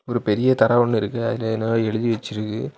ஒரு பெரிய தர ஒன்னு இருக்கு அதுல என்னமோ எழுதி வெச்சிருக்கு.